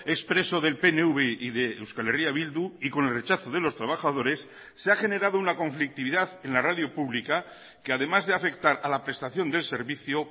expreso del pnv y de euskal herria bildu y con el rechazo de los trabajadores se ha generado una conflictividad en la radio pública que además de afectar a la prestación del servicio